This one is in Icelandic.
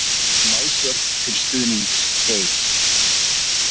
Málsvörn til stuðnings Geir